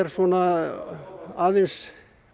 svona aðeins